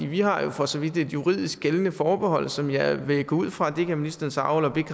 vi har jo for så vidt et juridisk gældende forbehold som jeg vil gå ud fra det kan ministeren så